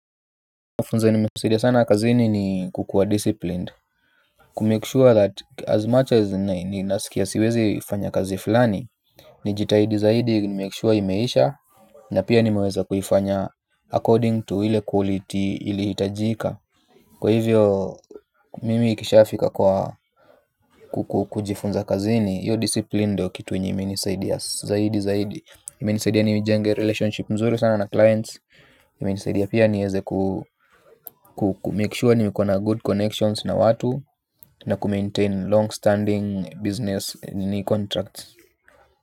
Mufunzo nimesaidia sana kazini ni kukuwa disciplined. Kumake sure that as much as ninasikia siwezi fanya kazi fulani. Nijitahidi zaidi nimake sure imeisha. Na pia nimeweza kuhifanya according to ile quality ili itajika. Kwa hivyo mimi ikishafika kwa kukujifunza kazini hiyo discipline ndio kitu yenye imenisaidia zaidi zaidi imenisaidia nijenge relationship mzuri sana na clients imenisaidia pia nieze kumakesure nimekuwa na good connections na watu. Na kumaintain long standing business contracts.